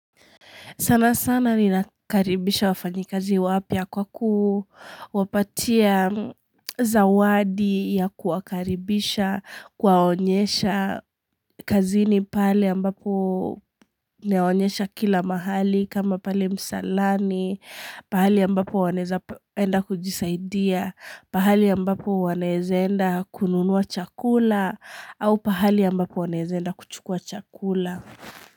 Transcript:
Sana sana ni nakaribisha wafanyikazi wapya kwa kuwapatia zawadi ya kuwakaribisha, kuwaonyesha kazini pale ambapo nawaonyesha kila mahali kama pale msalani, pahali ambapo wanaeza enda kujisaidia, pahali ambapo wanaeza enda kununua chakula au pahali ambapo wanaeza enda kuchukua chakula.